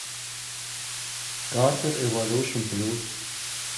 картер эволюшн плюс